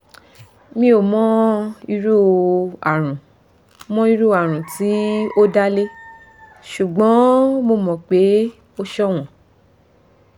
mi ò mọ irú àrùn mọ irú àrùn tí ó dá lé ṣùgbọ́n mo mọ̀ pé o ṣọ̀wọ́n